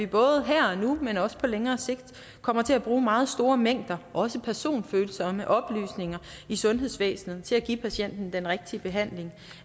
både her og nu men også på længere sigt kommer til at bruge meget store mængder af også personfølsomme oplysninger i sundhedsvæsenet til at give patienten den rigtige behandling